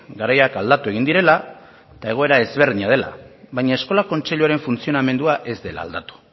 garaiak aldatu egin direla eta egoera ezberdina dela baina eskola kontseiluaren funtzionamendua ez dela aldatu